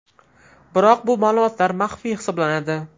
Biroq bu ma’lumotlar maxfiy hisoblanadi.